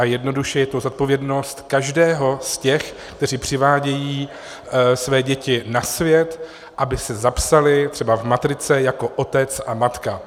A jednoduše je to zodpovědnost každého z těch, kteří přivádějí své děti na svět, aby se zapsali třeba v matrice jako otec a matka.